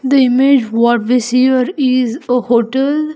The image what we see here is a hotel --